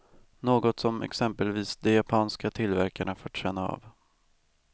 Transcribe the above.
Något som exempelvis de japanska tillverkarna fått känna av.